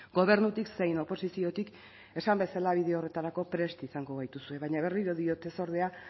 gobernutik zein oposiziotik esan bezala bide horretarako prest izango gaituzue baina berriro diot ez ordea